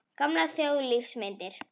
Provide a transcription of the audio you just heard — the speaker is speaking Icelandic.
Gamlar þjóðlífsmyndir.